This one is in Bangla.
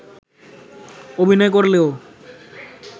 অভিনয় করলেও